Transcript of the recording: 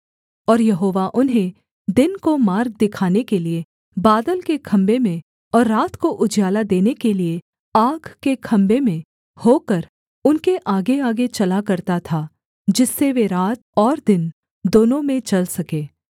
और यहोवा उन्हें दिन को मार्ग दिखाने के लिये बादल के खम्भे में और रात को उजियाला देने के लिये आग के खम्भे में होकर उनके आगेआगे चला करता था जिससे वे रात और दिन दोनों में चल सके